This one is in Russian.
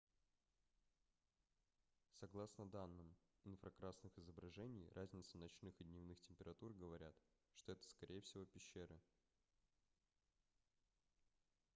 согласно данным инфракрасных изображений разницы ночных и дневных температур говорят что это скорее всего пещеры